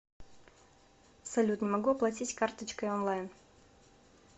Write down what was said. салют не могу оплатить карточкой онлайн